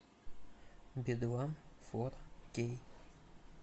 би два фор кей